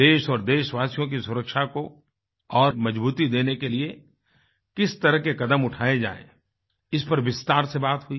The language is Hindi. देश और देशवासियों की सुरक्षा को और मजबूती देने के लिए किस तरह के कदम उठाये जाएँ इस पर विस्तार से बात हुई